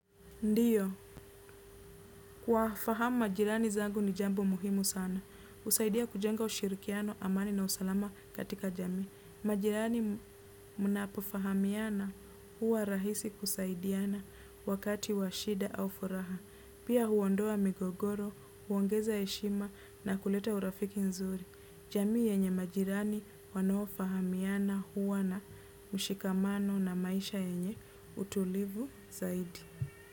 Ndio kuwafahamu majirani zangu ni jambo muhimu sana. Husaidia kujenga ushirikiano amani na usalama katika jamii. Majirani mnapofahamiana hua rahisi kusaidiana wakati wa shida au furaha. Pia huondoa migogoro huongeza heshima na kuleta urafiki mzuri. Jamii yenye majirani wanaofahamiana hua na mshikamano na maisha yenye utulivu zaidi.